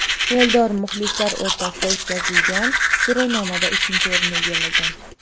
Eldor muxlislar o‘rtasida o‘tkazilgan so‘rovnomada ikkinchi o‘rinni egallagan.